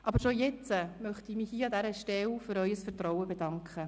Aber bereits jetzt möchte ich mich an dieser Stelle für Ihr Vertrauen bedanken.